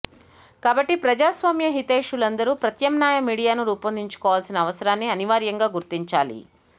కాబట్టి ప్రజాస్వామ్య హితైషులందరూ ప్రత్యామ్నాయ మీడియాను పెంపొందించుకోవాల్సిన అవసరాన్ని అనివార్యంగా గుర్తించాలి